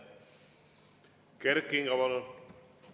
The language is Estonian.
Kert Kingo, palun!